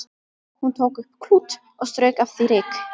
Hann tók upp klút og strauk af því ryk.